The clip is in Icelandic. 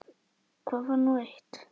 Það var nú eitt.